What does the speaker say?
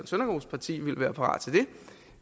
søndergaards parti ville være parat til det